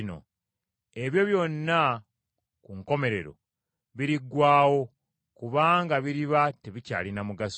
Ebyo byonna ku nkomerero biriggwaawo kubanga biriba tebikyalina mugaso.